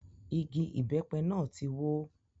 Igi ìbẹ́pẹ náà tí wó.